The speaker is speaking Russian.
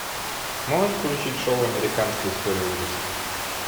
можешь включить шоу американская история ужасов